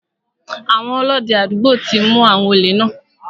Àwọn Ọlọ́dẹ àdúgbò ti mu àwọn òlè náà.